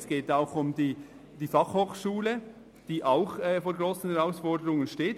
Es geht auch um die Fachhochschule, die ebenfalls vor grossen Herausforderungen steht.